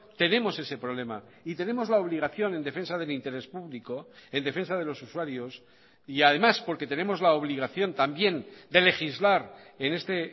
tenemos ese problema y tenemos la obligación en defensa del interés público en defensa de los usuarios y además porque tenemos la obligación también de legislar en este